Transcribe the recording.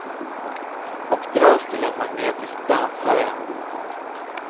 Och dras till en magnetisk dansare.